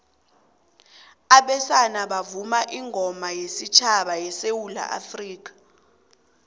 abesana bavuma ingoma wesutjhaba sesewula afrikha